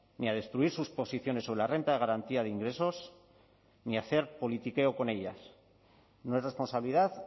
ni a destruir sus posiciones sobre la renta de garantía de ingresos ni a hacer politiqueo con ellas no es responsabilidad